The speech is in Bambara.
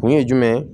Kun ye jumɛn ye